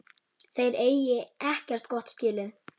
Þeir eigi ekkert gott skilið.